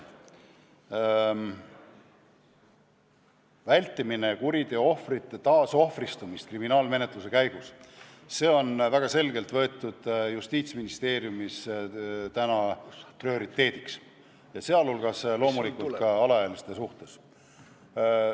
See kuriteoohvrite taasohvristumise vältimine kriminaalmenetluse käigus on Justiitsministeeriumis võetud täna väga selgelt prioriteediks, sealhulgas loomulikult alaealiste suhtes.